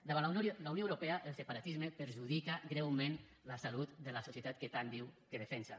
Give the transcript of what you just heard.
davant la unió europea el separatisme perjudica greument la salut de la societat que tant diu que defensa